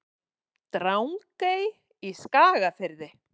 Drangey í Skagafirði.